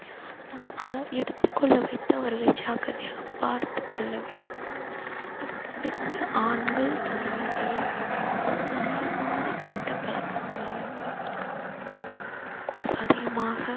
நம் எடுத்துக் கொள்ள வைத்து அவர்களை ஜாக்கிரதையாக பார்த்துக் கொள்ள வேண்டும் அது தவிர்த்து ஆண்கள் தங்களுடைய அதிகமான கெட்ட பழக்கங்களையும் அதிகமாக